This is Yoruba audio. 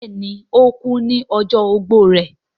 bẹẹni, ó kú ní ọjọ́ ogbó rẹ̀